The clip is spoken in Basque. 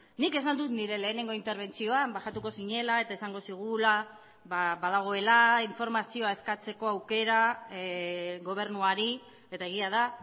nik esan dut nire lehenengo interbentzioan bajatuko zinela eta esango zigula badagoela informazioa eskatzeko aukera gobernuari eta egia da